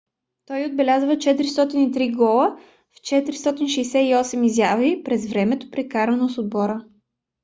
той отбеляза 403 гола в 468 изяви през времето прекарано с отбора